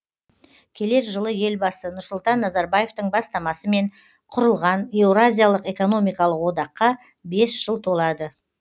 келер жылы елбасы нұрсұлтан назарбаевтың бастамасымен құрылған еуразиялық экономикалық одаққа бес жыл толады